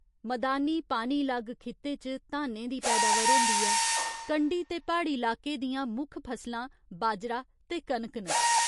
मदानी पानी लग्ग खित्ते च धानें दी पैदावार होंदी ऐ, कंढी ते प्हाड़ी लाके दियां मुक्ख फसलां बाजरा ते कनक न।